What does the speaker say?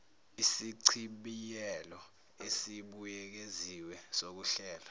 isichibiyelo esibuyekeziwe sokuhlelwa